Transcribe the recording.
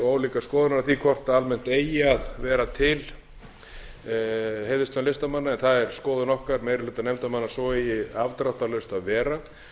ólíkar skoðun á því hvort almennt eigi að vera til heiðurslaun listamanna en það er skoðun okkar meiri hluta nefndarmanna að svo eigi afdráttarlaust að